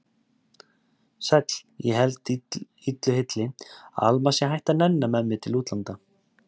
Sæll, ég held illu heilli að Alma sé hætt að nenna með mér til útlanda.